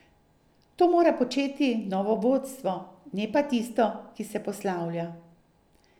To mora početi novo vodstvo, ne pa tisto, ki se poslavlja.